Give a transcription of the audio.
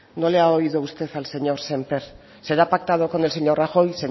no le ha oído usted al señor sémper será pactado con el señor rajoy